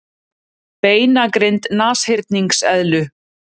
Beinagrind nashyrningseðlu.